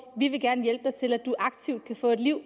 vi vil gerne hjælpe til med at du aktivt kan få et liv